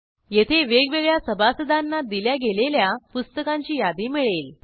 येथे वेगवेगळ्या सभासदांना दिल्या गेलेल्या पुस्तकांची यादी मिळेल